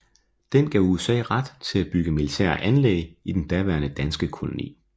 Den gav USA ret til at bygge militære anlæg i den daværende danske koloni